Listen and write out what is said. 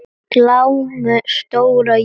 Glámu stóra jór er með.